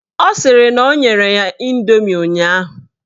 Ọ sịrị na o nyere ya indomi ụnyaahụ